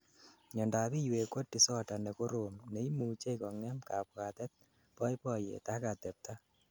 miandap iywek ko disorder nekorom neimuchei kongem kabwatet, boiboyet ak atebta